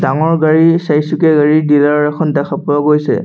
ডাঙৰ গাড়ী চাৰিচুকীয়া গাড়ীৰ ডিলাৰ এখন দেখা পোৱা গৈছে।